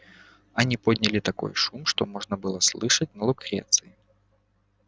они подняли такой шум что его можно было слышать на лукреции